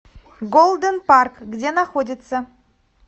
голдэн парк где находится